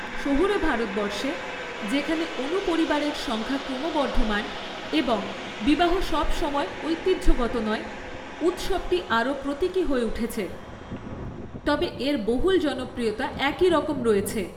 শহুরে ভারতবর্ষে, যেখানে অণুপরিবারের সংখ্যা ক্রমবর্ধমান এবং বিবাহ সবসময় ঐতিহ্যগত নয়, উৎসবটি আরও প্রতীকী হয়ে উঠেছে, তবে এর বহুল জনপ্রিয়তা একই রকম রয়েছে।